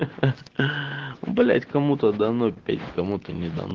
хи-хи блять кому-то дано петь кому-то не дано